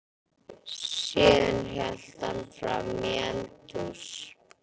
Síðan hélt hann fram í eldhús.